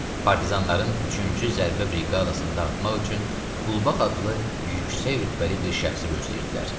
Partizanların üçüncü zərbə briqadasını dağıtmaq üçün Qulbax adlı yüksək rütbəli bir şəxsi gözləyirdilər.